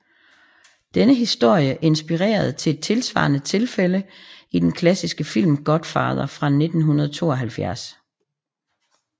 Denne historie inspirerede til et tilsvarende tilfælde i den klassiske film Godfather fra 1972